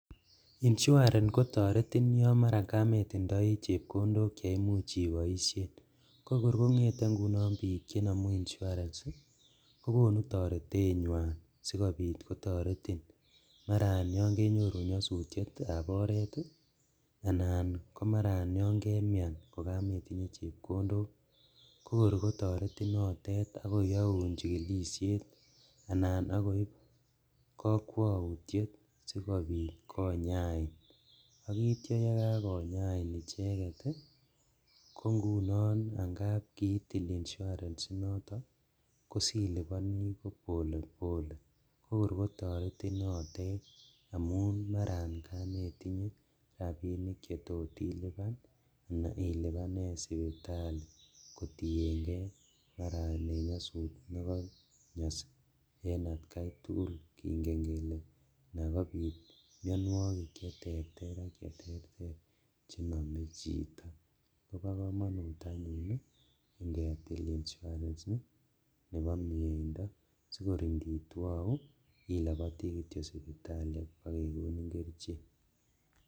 Inshuarens kotoretin yon mara kamitindoi chepkondok cheimuch iboisien. Kokor kongete ingunon biik chemara konamu inshuarens kokonu toretenywan sikopit kotoretin. Maraat yonkenyoru nyasutietab oret anan komara yonkemian kokametinye chepkondok, kokor kotoretin notet ak koyaun chigilisiet anan akkoip kakwautiet sipakopit konyain. Akitya yekskonyain icheget ko ngunon angap kiitil inshurens inotok ko silupani polepole. Kokor kotoretin notet amun marakametinye rapinik chetot ilupan anan ilupanen siputali kotienge maraen nyasut ne konyas en atkai tugul. Kingen kele anagopit mianwogik cheterter chenome chi. Koba kamanut anyun ngetil inshuarens nebo mieindo sigor nditwou ilapati kityo suputali ak kekonin kerichek.